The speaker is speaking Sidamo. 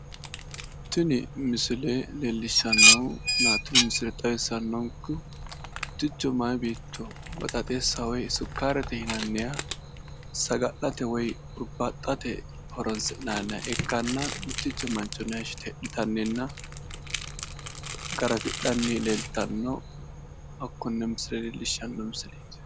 tini misile leellishshannonkehunna xawissannonkehu mitticho meya beetto baxaxeessaho woyi sukkaarete yinanniha saga'late woyi hurbaaxate horonsi'nanniha ikkanna mitticho manchono heeshshi yite hidhitanninna garafidhanni leeltanno hakkonne misile leellishshanno misileeti.